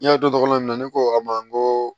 N y'a dɔn tɔgɔ min na ne ko a ma n ko